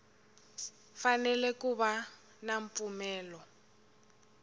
fanele ku va na mpfumelelo